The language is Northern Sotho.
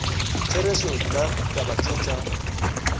therešo nna taba tše tša